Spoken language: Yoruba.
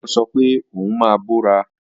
Táyọ̀ sọ pé òun máa bọ́ra